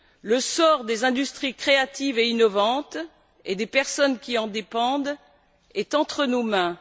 Le sort des industries créatives et innovantes, et des personnes qui en dépendent, est entre nos mains.